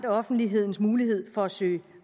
offentlighedens mulighed for at søge